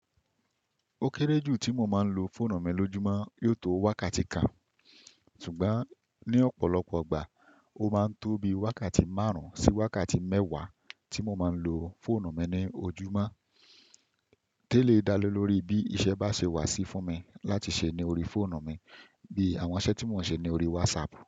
Ó kéré jù tí mo máa ń lo fóònù mi lójúmọ́ yóò tó wákàtí kan, ṣùgbọ́n ní ọ̀pọ̀lọpọ̀ igbà, ó máa ń tóbi wákàtí márùn-ún sí wákàtí mẹ́wàá tí mo máa ń lo fóònù mi ní ojúmọ́. Téèlé dá lé lórí bí iṣẹ́ bá ṣe wà sí fún mi láti ṣe ní orí fóònù mi bí àwọn iṣẹ́ tí mo ń ṣe ní orí WhatsApp.